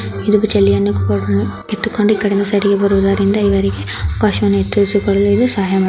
ಕಿತ್ತುಕೊಂಡು ಈಕಡೆನು ಸೈಡ್ ಇಗೆ ಬರುವ ದಾರಿಯಿಂದ ಇವರಿಗೆ ಸಹಾಯ --